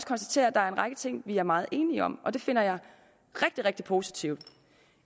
konstatere at der er en række ting vi er meget enige om og det finder jeg rigtig rigtig positivt